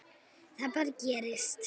Það bara gerist.